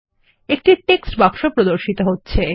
একটি টেক্সট বাক্স প্রদর্শিত হচ্ছে